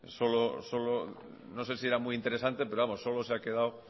no sé si era muy interesante pero vamos solo se ha quedado